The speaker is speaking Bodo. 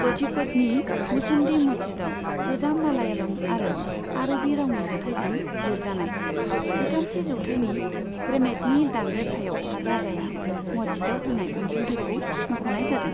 क'झिक'डनि मुचुन्डी मस्जिदाव गोजाम मालयालम आरो आरबी रावनि जथाइजों लिरजानाय, जिथामथि जौथाइनि ग्रेनाइटनि दानरेब्थायाव राजाया मस्जिदआव होनाय अनसुंथायखौ मख'नाय जादों।